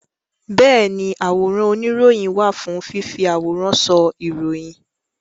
Bẹ́ẹ̀ni àwòrán oníròyìn wà fún fífi àwòrán sọ ìròyìn